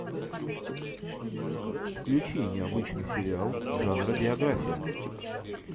включи необычный сериал жанра биография